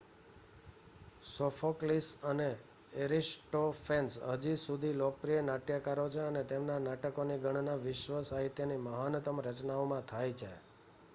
Sophocles અને Aristophanes હજી સુધી લોકપ્રિય નાટ્યકારો છે અને તેમના નાટકોની ગણના વિશ્વ સાહિત્યની મહાનતમ રચનાઓમાં થાય છે